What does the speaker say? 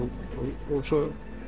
og svo